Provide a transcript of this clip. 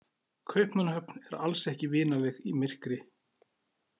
Kaupmannahöfn er alls ekki vinaleg í myrkri.